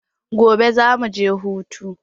Gobe za mu je hutu.